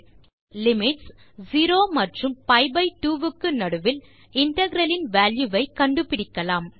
இப்போது லிமிட்ஸ் 0 மற்றும் பி2 க்கு நடுவில் இன்டெக்ரல் இன் வால்யூ ஐ கண்டுபிடிக்கலாம்